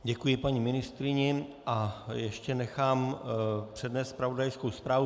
Děkuji paní ministryni a ještě nechám přednést zpravodajskou zprávu.